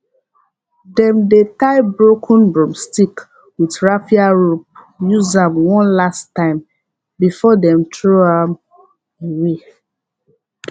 dem dey tie broken broomstick with raffia rope use am one last time before dem throw am away